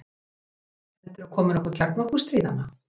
Heldurðu að komi nokkuð kjarnorku- stríð, amma?